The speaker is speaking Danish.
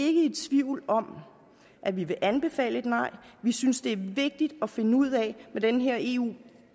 ikke i tvivl om at vi vil anbefale et nej vi synes det er vigtigt at finde ud hvordan den her eu